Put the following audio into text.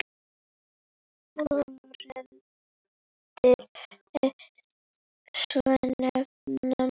Fordyri svo nefna má.